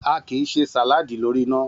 A kì í se sàláàdì lórí iná